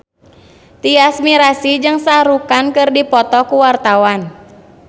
Tyas Mirasih jeung Shah Rukh Khan keur dipoto ku wartawan